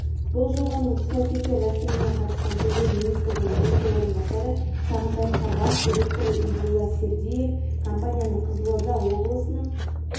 бұл жобаның тұсаукесер рәсіміне қатысқан премьер-министрдің бірінші орынбасары сағынтаевқа бас директоры ибулла сердиев компанияның қызылорда облысының